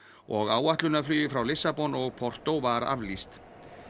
og áætlunarflugi frá Lissabon og var aflýst